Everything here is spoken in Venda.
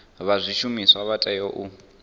vha zwishumiswa vha tea u